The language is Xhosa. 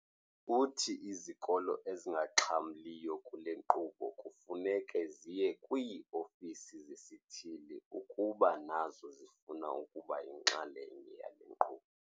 Uthi izikolo ezingaxhamliyo kule nkqubo kufuneka ziye kwii-ofisi zesithili ukuba nazo zifuna ukuba yinxalenye yale nkqubo.